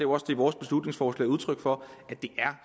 også det vores beslutningsforslag er udtryk for at det